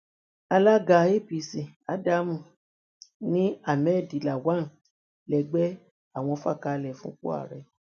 alága apc adamu ní ahmed lawan lẹgbẹ àwọn fà kalẹ fúnpo ààrẹ